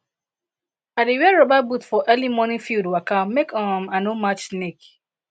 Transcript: i dey wear rubber boot for early morning field waka make um i no match snake